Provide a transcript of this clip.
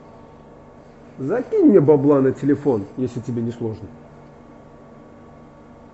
закинь мне бабла на телефон если тебе не сложно